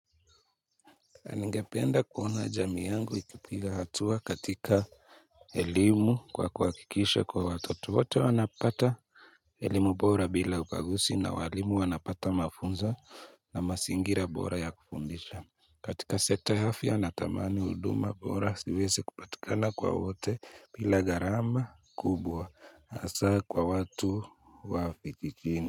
Ningependa kuona jamii yangu ikipiga hatua katika elimu kwa kuhakikisha kuwa watoto wote wanapata elimu bora bila ubaguzi na walimu wanapata mafunzo na mazingira bora ya kufundisha katika sekta ya afya natamani huduma bora siweze kupatikana kwa wote bila gharama kubwa hasa kwa watu wa vijijiini.